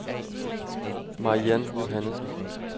Mariann Johannessen